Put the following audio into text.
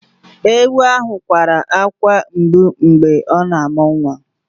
Èwu ahụ kwara akwa mgbụ mgbe ọ na-amụ nwa